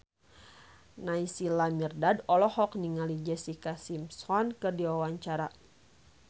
Naysila Mirdad olohok ningali Jessica Simpson keur diwawancara